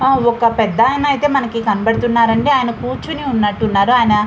ఆ ఒక పెద్దాయిన ఐతే మనకి కనబడుతున్నారండి అయన కూర్చుని ఉన్నట్టు ఉన్నారు అయన --